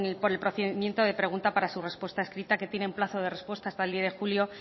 por el procedimiento de pregunta para su respuesta escrita que tiene un plazo de respuestas hasta el diez de julio